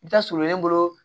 I bɛ taa surunlen bolo